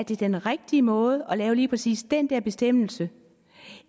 det er den rigtige måde at lave lige præcis den bestemmelse